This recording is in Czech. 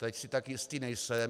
Teď si tak jistý nejsem.